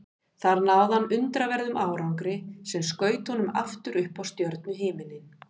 Þar náði hann undraverðum árangri sem skaut honum aftur upp á stjörnuhimininn.